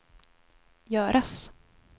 göras